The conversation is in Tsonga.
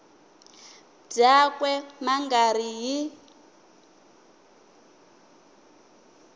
byakwe ma nga ri hi